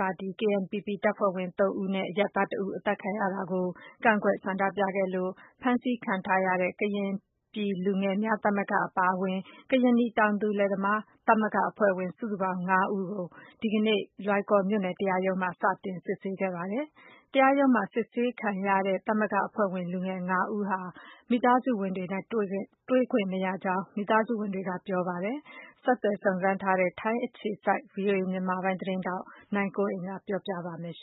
ပါတီ KNPP တပ်ဖွဲ့ဝင် ၃ ဦးနဲ့ အရပ်သား တစ်ဦး အသတ်ခံရတဲ့အပေါ် ကန့်ကွက် ဆန္ဒပြ ခဲ့လို့ ဖမ်းဆီးခံထားရတဲ့ ကရင်နီပြည်လူငယ်များသမဂ္ဂအပါအဝင် ကရင်နီတောင်သူလယ်သမားသမဂ္ဂအဖွဲ့ဝင် စုစုပေါင်း ၅ ဦးကို ဒီနေ့ လွိုင်ကော်မြို့နယ်တရားရုံးမှာ စတင်စစ်ဆေးခဲ့ပါတယ်။ တရားရုံးမှာစစ်ဆေးခံရတဲ့သမဂ္ဂအဖွဲ့ဝင်လူငယ် ဦး ဟာ မိသားစုဝင်တွေနဲ့တွေ့ခွင့်မရဘူးလို့လဲ မိသားစုဝင်တွေ ကပြောပါတယ်။အပြည့်အစုံကိုတော့ ဆက်သွယ်စုံစမ်းထား တဲ့ ဗွီအိုအေ မြန်မာပိုင်း သတင်းထောက် နိုင်ကွန်းအိန် ကပြောပြပေးမှာ ဖြစ်ပါတယ်။ ဆ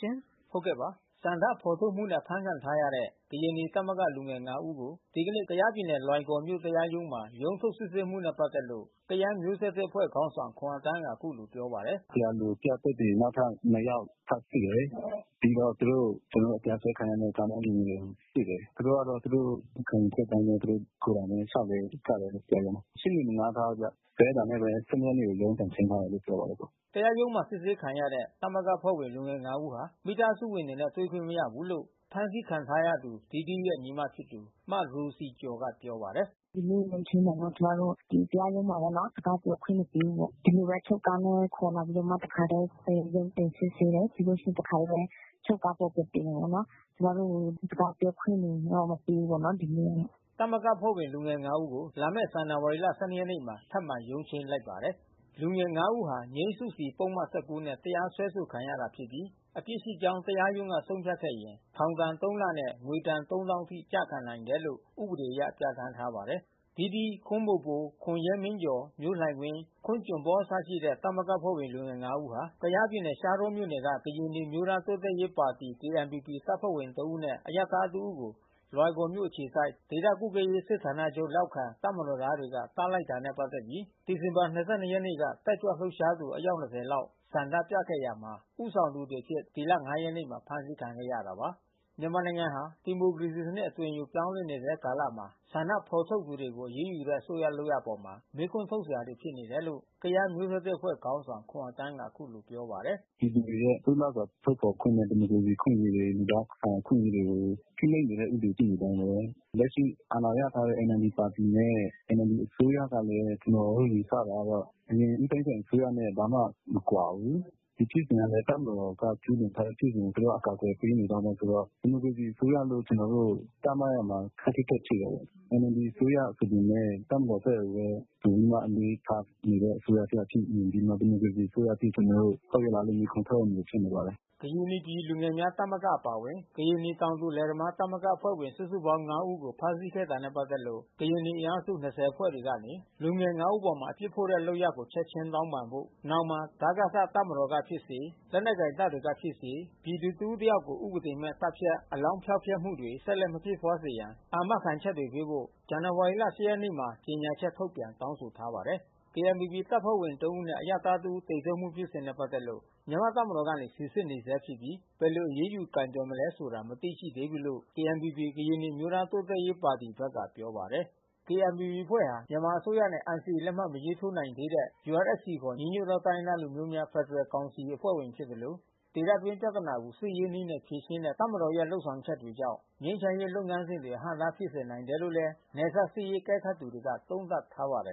န္ဒဖေါ်ထုတ်မှုနဲ့အဖမ်းဆီးခံထားရတဲ့ ကရင်နီသမဂ္ဂလူငယ် ဦးကို ဒီကနေ့ ကယားပြည်နယ်လွိုင်ကော်မြို့တရားရုံး မှာ ရုံးထုတ်စစ်ဆေးမှုနဲ့ပက်သက်လို့ ကယန်းမျိုးဆက်သစ်အဖွဲ့ခေါင်းဆောင်ခွန်အသန်းကအခုလိုပြောပါတယ်။ "တရားလိုပြသက်သေနောက်ထပ်နှစ်ယောက် ထပ်စစ်တယ်။ ပြီးတော့သူတို့ ကျွန်တော်တို့တရားစွဲခံထားရတဲ့ ကျောင်း သားလူငယ်တွေကိုစစ်တယ်။ သူတို့ကတော့ သူတို့ခံယူချက်အတိုင်းဘဲ သူတို့ကိုယ်တိုင်ဘဲလျှောက်လှဲကြတယ် တရား ရုံးမှာ။ ရှေ့နေမငှါးထားဘူးဗျ။ အဲတာနဲ့ဘဲ ရက်နေ့မှာရုံးပြန်ချိန်းထားတယ်လို့ပြောပါတယ်။" တရားရုံးမှာစစ်ဆေးခံရတဲ့သမဂ္ဂအဖွဲ့ဝင်လူငယ် ဦးဟာ မိသားစုဝင်တွေနဲ့တွေ့ခွင့်မရဘူးလို့ ဖမ်းဆီးခံထားရသူ ဒီဒီးရဲ့ ညီမဖြစ်သူ မရိုစီကျော်ကပြောပါတယ်။ "ဒီနေ့ရုံးချိန်းမှာပေါ့ ကျွန်မတို့ ဒီတရားရုံးမှာဘဲ စကားပြောခွင့်မပေးဘူးပေါ့။ ဒီလိုဘဲအချုပ်ကားနဲ့ခေါ်လာပြိးတော့မှ တခါ တည်း ရုံးတင်စစ်ဆေးတယ်။ ပြီးလို့ရှိရင်တခါတည်းဘဲ အချုပ်ကားပေါ်တက်စေတယ်ပေါ့နော်။ ကျွန်မတို့ကိုစကား ပြောခွင့်တွေမပေးဘူးပေါ့နော်ဒီနေ့။" သမဂ္ဂအဖွဲ့ဝင်လူငယ် ဦးကို လာမယ့် ဇန်နဝါရီလ ၁၂ ရက်နေ့မှာ ထပ်မံရုံးချိန်းလိုက်ပါတယ်။ လူငယ် ဦးဟာ ငြိမ်းစုစီ ပုဒ်မ ၁၉နဲ့ တရားစွဲဆိုခံထားရတာဖြစ်ပြီး အပြစ်ရှိကြောင်းတရားရုံးက ဆုံးဖြတ် ခဲ့ရင် ထောင်ဒဏ် လနဲ့ငွေဒဏ် သောင်းအထိကျခံနိုင်တယ်လို့ဥပဒေအရပြဌာန်းထားပါတယ်။ ဒီးဒီး ခွန်းဘိုဘို ခွန်ရဲမင်းကျော် မျိုးလှိုင်ဝင်း ခွန်းဂျွန်ပေါလ်အစရှိတဲ့ သမဂ္ဂအဖွဲ့ဝင်လူငယ် ဦးဟာ ဒီဇင်ဘာ ရက်နေ့က ကယားပြည်နယ် ရှားတောမြို့က ကရင်နီအမျိုးသား တိုးတက်ရေးပါတီ KNPP တပ်ဖွဲ့ဝင် ၃ ဦးနဲ့ အရပ်သား ၁ ဦးကို လွိုင်ကော်မြို့ အခြေစိုက် ဒေသကွပ်ကဲရေးစစ်ဌာနချုပ်လက်အောက်ကတပ်မတော်သားတွေက သတ်လိုက်တာ နဲ့ ပတ်သက်ပြီး ဒီဇင်ဘာလ ၂၂ ရက်နေ့က တက်ကြွ လှုပ်ရှားသူ အယောက် ၂၀ လောက် ဆန္ဒပြခဲ့မှုမှာ ဦးဆောင်သူ တွေအဖြစ် ဒီလ ရက်နေ့မှာဖမ်းဆီးခံခဲ့ရတာပါ။ မြန်မာနိုင်ငံဟာ ဒီမိုကရေစီစံနစ်အသွင်ယူပြောင်းလဲနေဆဲကာလမှာ ဆန္ဒဖေါ်ထုတ်တဲ့သူတွေကို အရေးယူတဲ့အစိုးရ လုပ်ရပ်အပေါ် မေးခွန်းထုတ်စရာဖြစ်နေတယ်လို့ ကယန်းမျိုးဆက်သစ်အဖွဲ့ခေါင်းဆောင်ခွန်အသန်းက အခုလိုပြော ပါတယ်။ "ပြည်သူတွေရဲ့လွတ်လပ်စွာထုတ်ဖေါ်ခွင့်နဲ့ ဒီမိုကရေစီအခွင့်အရေး လူသားဆိုင်ရာအခွင့်အရေးတွေကို ဖိနှိပ်နေတဲ့ဥပဒေရှိ နေတုန်းဘဲ။ လက်ရှိအာဏာရထားတဲ့ NLDပါတီနဲ့NLDအစိုးရကလဲ ကျွန်တော်တို့ယူဆထားတာကတော့အရင်ဦးသိန်းစိန် အစိုးရနဲ့ ဘာမှ မကွာဘူး။ ဒီဖြစ်စဉ် က လဲ တပ်မတော်ကကျူးလွန်ထားတဲ့ဖြစ်စဉ် သူတို့ကအကာကွယ်ပေးနေ တုန်းဘဲ ဆိုတော့ ဒီမိုကရေစီအစိုးရလို့ကျွန်တော်တို့သတ်မှတ်ရမှာခပ်ခက်ခက်ဖြစ်နေတယ်။ NLDအစိုးရဆိုပေမဲ့ တပ်မတော် ဘက်ကိုဘဲ ဝင်ပြီးမှအလေးထားနေတဲ့အစိုးရတရပ်ဖြစ်နေပြီး ဒီမိုကရေစီအစိုးရအဖြစ်ကျွန်တော်တို့ ဟုတ်ရဲ့ လားလို့ မေးခွန်းထုတ်ရမလိုဖြစ်နေပါတယ်။" ကရင်နီပြည်လူငယ်များသမဂ္ဂအပါအဝင် ကရင်နီတောင်သူ လယ်သမားသမဂ္ဂအဖွဲ့ဝင် စုစုပေါင်း ၅ ဦးကို ဖမ်းဆီးခဲ့တာနဲ့ ပက်သက်လို့ ကရင်နီအင်အားစု ဖွဲ့တွေကနေ လူငယ် ဦးအပေါ်အပြစ်ဖို့တဲ့လုပ်ရပ်ကို ချက်ချင်း တောင်းပန် ဖို့ နဲ့ နောင်တွင် ဒကစတပ်မတော်ကဖြစ်စေ၊ လက်နက်ကိုင်တပ်တွေကဖြစ်စေ ပြည်သူတစ်ဦး တစ်ယောက်ကို ဥပဒေ မဲ့ သတ်ဖြတ် အလောင်းဖျောက်မှုတွေ ဆက်လက်မဖြစ်ပွားစေရန် အာမခံချက်တွေပေးဖို့ ဇန်နဝါရီလ ရက်နေ့ မှာကြေညာချက်ထုတ်ပြန်တောင်းဆိုထားပါတယ်။ KNPPတပ်ဖွဲ့ဝင်သုံးဦးနဲ့ အရပ်သားတစ်ဦး သေဆုံးမှုဖြစ်စဉ်နဲ့ပက်သက်လို့ မြန်မာ့တပ်မတော်ကနေ စီစစ်နေဆဲ ဖြစ်ပြီး ဘယ်လို အရေးယူ ကိုယ်တွယ်မလဲ ဆိုတာကိုတော့ မသိရှိသေးဘူးလို့ KNPPကရင်နီအမျိုးသားတိုးတက်ရေးပါတီ ဘက်ကပြောပါတယ်။ KNPPအဖွဲ့ဟာ မြန်မာအစိုးရနဲ့NCAလက်မှတ်မထိုးနိုင်သေးတဲ့ UNFCခေါ် ညီညွတ်သောတိုင်းရင်းသားလူမျိုးများ ဖက်ဒ ရယ်ကောင်စီအဖွဲ့ဝင်ဖြစ်သလို ဒေသတွင်းပြဿနာကို စစ်ရေးနည်းနဲ့ဖြေရှင်းတဲ့တပ်မတော်ရဲ့လုပ်ဆောင်ချက်တွေ ကြောင့် ငြိမ်းချမ်းရေးလုပ်ငန်းစဉ်တွေ အဟန့်အတားဖြစ်စေနိုင် တယ်လို့လဲနယ်စပ်စစ်ရေးအကဲခတ်သူတွေက သုံးသပ် ထားပါတယ်